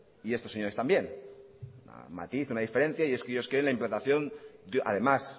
y estos señores también hay un matiz una diferencia y es que ellos quieren la implantación además